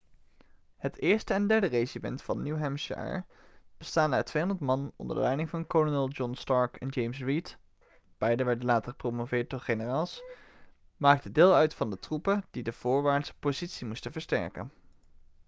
het eerste en derde regiment van new hampshire bestaande uit 200 man onder de leiding van kolonel john stark en james reed beiden werden later gepromoveerd tot generaals maakte deel uit van de troepen die de voorwaartse positie moesten versterken